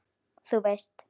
Þú veist.